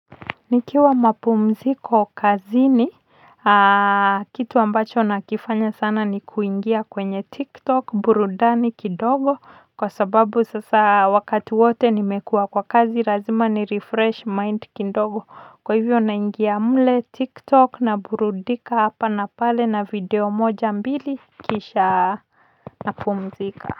Nikiwa mapumziko kazini kitu ambacho nakifanya sana ni kuingia Tiktok burudani kidogo kwa sababu sasa wakati wote nimekuwa kwa kazi lazima nirefresh mind kidogo kwa hivyo naingia mle tiktok naburudika hapa na pale na video moja mbili kisha napumzika.